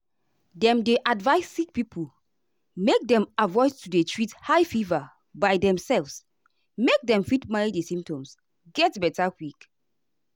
dem dey advise sick pipo make dem avoid to dey treat high fever by demself make dem fit manage di symptoms get beta quick.